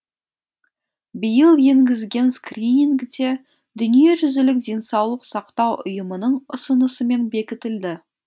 биыл енгізген скрининг те дүниежүзілік денсаулық сақтау ұйымының ұсынысымен бекітілді